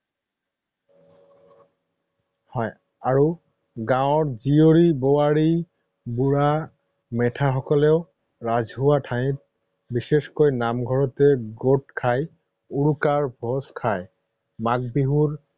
হয় আৰু গাঁৱৰ জীয়ৰী, বোৱাৰী, বুঢ়া মেথা সকলেও ৰাজহুৱা ঠাইত বিশেষকৈ নামঘৰতে গোট খাই উৰুকাৰ ভোজ খায়। মাঘ বিহুৰ